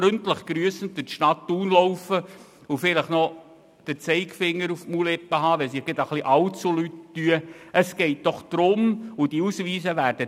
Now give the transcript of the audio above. Freundlich grüssend durch die Stadt Thun laufen und vielleicht den Zeigefinger auf die Lippen legen, wenn es irgendwo allzu laut wird?